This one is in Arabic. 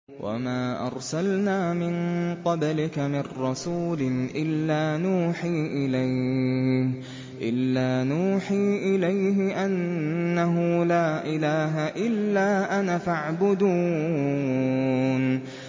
وَمَا أَرْسَلْنَا مِن قَبْلِكَ مِن رَّسُولٍ إِلَّا نُوحِي إِلَيْهِ أَنَّهُ لَا إِلَٰهَ إِلَّا أَنَا فَاعْبُدُونِ